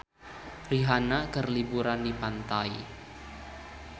Rihanna keur liburan di pantai